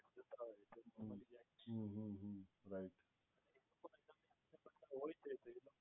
hmm hmm hmm hmm right